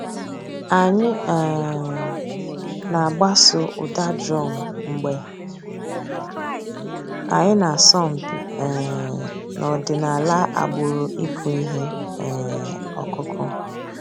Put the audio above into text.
Ànyị̀ um nà-àgbàsò ǔ́dà drum mgbè ànyị̀ nà-àsọ̀ mpị̀ um n'ọ̀dìnàlà àgbùrù ị̀kụ̀ íhè um ǒkụ̀kụ̀.